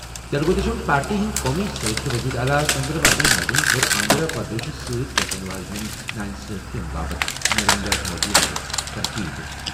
Telugu Desam party ہٕنٛدۍ قومی صدر تہٕ وزیر اعلیٰ چندرا بابو نائیڈوَن کٔر آندھرا پردیشَس سۭتۍ گژھَن واجٮ۪ن ناانصافی باپتھ نریندر مودی یَس پٮ۪ٹھ تنقید۔